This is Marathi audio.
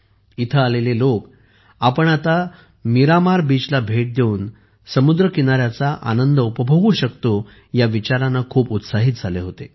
येथे आलेले लोक आपण आता मीरामार बीचला भेट देऊन समुद्रकिनाऱ्याच्या आनंद उपभोगू शकतो या विचाराने खूप उत्साहित झाले होते